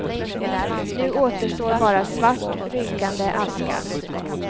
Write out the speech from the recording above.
Nu återstår bara svart, rykande aska.